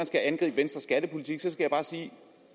skal angribes